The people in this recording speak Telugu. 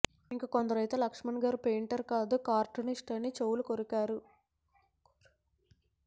ఇంకా కొందరైతే లక్ష్మణ్ గారు పెయింటర్ కాదు కార్టూనిస్ట్ అని చెవులు కొరికారు